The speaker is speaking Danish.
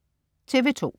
TV2: